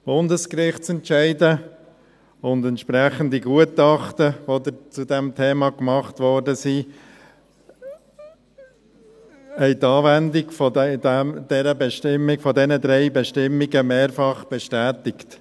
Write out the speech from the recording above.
Bundesgerichtsentscheide und entsprechende Gutachten, die zu diesem Thema gemacht wurden, haben die Anwendung dieser drei Bestimmungen mehrfach bestätigt.